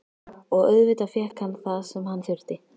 Og auðvitað fékk hann það sem hann þurfti.